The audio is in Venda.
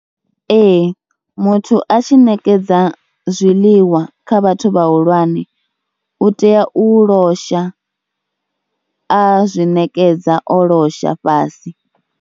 Ee muthu a tshi ṋekedza zwiḽiwa kha vhathu vhahulwane u tea u losha, a zwi ṋekedza o losha fhasi.